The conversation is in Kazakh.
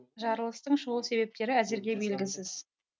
жарылыстың шығу себептері әзірге белгісіз